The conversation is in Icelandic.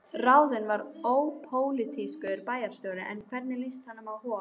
Ráðinn var ópólitískur bæjarstjóri, en hvernig líst honum á Hof?